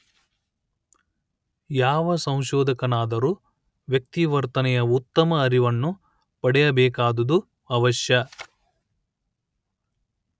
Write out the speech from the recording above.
ಯಾವ ಸಂಶೋಧಕನಾದರೂ ವ್ಯಕ್ತಿ ವರ್ತನೆಯ ಉತ್ತಮ ಅರಿವನ್ನು ಪಡೆಯಬೇಕಾದುದು ಅವಶ್ಯ